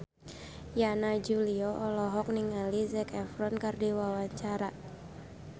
Yana Julio olohok ningali Zac Efron keur diwawancara